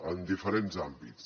en diferents àmbits